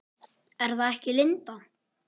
Er það ekki Linda?